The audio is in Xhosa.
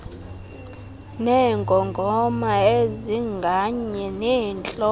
neengongoma ezinganye zentloko